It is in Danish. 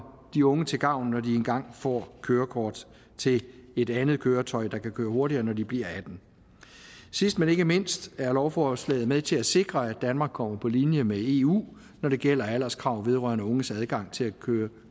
de unge til gavn når de engang får kørekort til et andet køretøj der kan køre hurtigere når de bliver atten år sidst men ikke mindst er lovforslaget med til at sikre at danmark kommer på linje med eu når det gælder alderskrav vedrørende unges adgang til